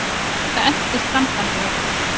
Enda entist sambandið ekki.